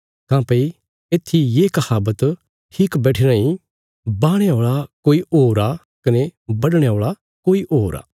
काँह्भई इत्थी ये कहावत ठीक बैठीराँ ई बाहणे औल़ा कोई होर आ कने बढणे औल़ा कोई होर